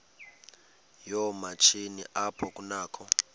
yoomatshini apho kunakho